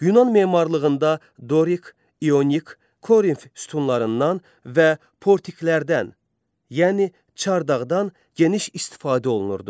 Yunan memarlığında Dorik, İyonik, Korinf sütunlarından və portiklərdən, yəni çardaqdan geniş istifadə olunurdu.